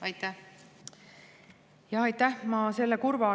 Aitäh!